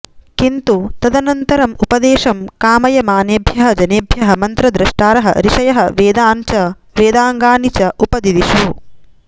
किन्तु तदनन्तरम् उपदेशं कामयमानेभ्यः जनेभ्यः मन्त्रद्रष्टारः ऋषयः वेदान् च वेदाङ्गानि च उपदिदिशुः